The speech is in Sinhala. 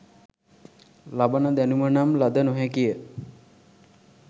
ලබන දැනුම නම් ලද නො හැකි ය